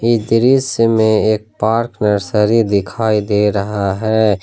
इस दृश्य में एक पार्क नर्सरी दिखाई दे रहा है।